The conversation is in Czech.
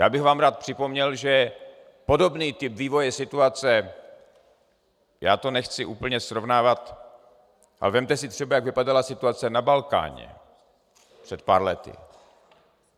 Já bych vám rád připomněl, že podobný typ vývoje situace - já to nechci úplně srovnávat, ale vezměte si třeba, jak vypadala situace na Balkáně před pár lety.